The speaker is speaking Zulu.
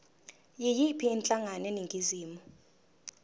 yiyiphi inhlangano eningizimu